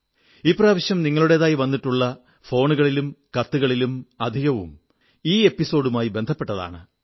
ഇപ്രാവശ്യം നിങ്ങളുടേതായി വന്നിട്ടുള്ള ഫോണുകളിലും കത്തുകളിലും അധികവും ഈ ലക്കവുമായി ബന്ധപ്പെട്ടാണ്